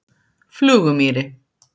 Flugumýri